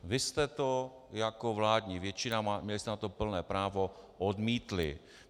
Vy jste to jako vládní většina, měli jste na to plné právo, odmítli.